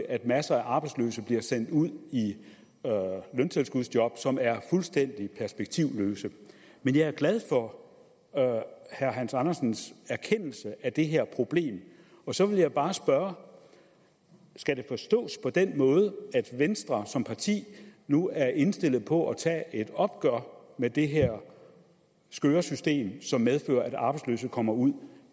at masser af arbejdsløse bliver sendt ud i løntilskudsjob som er fuldstændig perspektivløse men jeg er glad for herre hans andersens erkendelse af det her problem og så vil jeg bare spørge skal det forstås på den måde at venstre som parti nu er indstillet på at tage et opgør med det her skøre system som medfører at arbejdsløse kommer ud